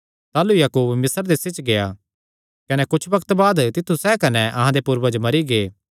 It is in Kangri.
ताह़लू याकूब मिस्र देसे च गेआ कुच्छ बग्त बाद तित्थु सैह़ कने अहां दे पूर्वज मरी गै